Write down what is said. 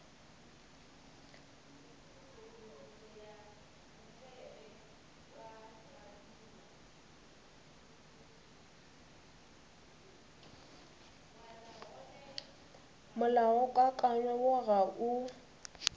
molaokakanywa woo o ga o